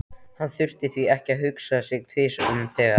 Hann þurfti því ekki að hugsa sig tvisvar um þegar